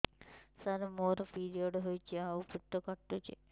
ସାର ମୋର ପିରିଅଡ଼ ହେଇଚି ଆଉ ପେଟ କାଟୁଛି